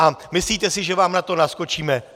A myslíte si, že vám na to naskočíme?